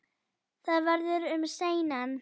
Það verður um seinan.